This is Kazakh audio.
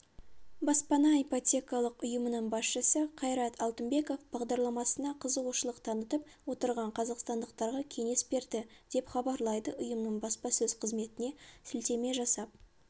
баспана ипотекалық ұйымының басшысы қайрат алтынбеков бағдарламасына қызығушылық танытып отырған қазақстандықтарға кеңес берді деп хабарлайды ұйымның баспасөз қызметіне сілтеме жасап